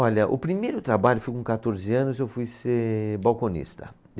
Olha, o primeiro trabalho, foi com quatorze anos, eu fui ser balconista.